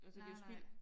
Altså det jo spild